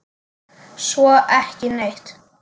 Svo ekki neitt.